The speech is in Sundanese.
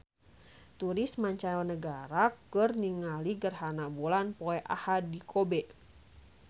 Turis mancanagara keur ningali gerhana bulan poe Ahad di Kobe